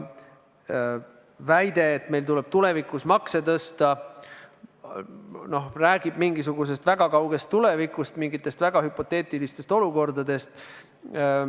Väide, et meil tuleb tulevikus makse tõsta, räägib mingisugusest väga kaugest tulevikust, mingitest väga hüpoteetilistest olukordadest.